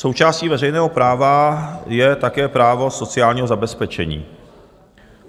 Součástí veřejného práva je také právo sociálního zabezpečení.